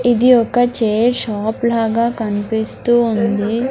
ఇది ఒక chair shop లాగా కన్పిస్తూ ఉంది.